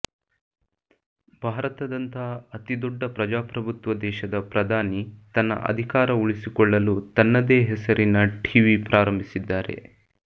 ಭಾರತದಂತಹ ಅತಿದೊಡ್ಡ ಪ್ರಜಾಪ್ರಭುತ್ವ ದೇಶದ ಪ್ರಧಾನಿ ತನ್ನ ಅಧಿಕಾರ ಉಳಿಸಿಕೊಳ್ಳಲು ತನ್ನದೇ ಹೆಸರಿನ ಟೀವಿ ಪ್ರಾರಂಭಿಸಿದ್ದಾರೆ